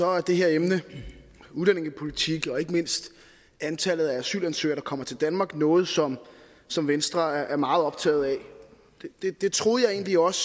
er det her emne udlændingepolitik og ikke mindst antallet af asylansøgere der kommer til danmark noget som som venstre er meget optaget af det troede jeg egentlig også